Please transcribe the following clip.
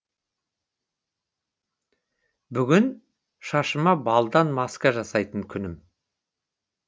бүгін шашыма балдан маска жасайтын күнім